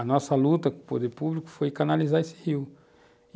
A nossa luta com o poder público foi canalizar esse rio.